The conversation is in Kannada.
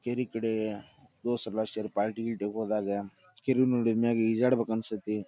ಕೆರಿ ಕಡೆ ದೋಸ್ತ್ರ್ ಎಲ್ಲಾ ಶೇರ್ ಪಾರ್ಟಿ ಗೀರ್ಟಿಗ್ ಹೋದಾಗ ಕೆರಿ ನೋಡಿದ್ಮ್ಯಾಗ ಈಜಾಡ್ಬೇಕ್ ಅನ್ಸ್ತೈತಿ .